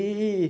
E